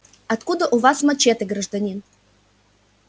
откуда у вас мачете гражданин